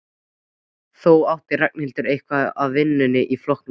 Þó átti Ragnhildur eitthvað af vinum í flokknum.